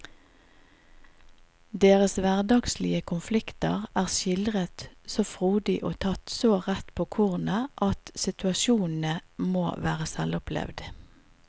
Deres hverdagslige konflikter er skildret så frodig og tatt så rett på kornet at situasjonene må være selvopplevd.